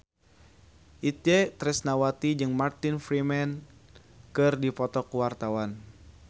Itje Tresnawati jeung Martin Freeman keur dipoto ku wartawan